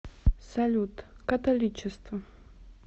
салют католичество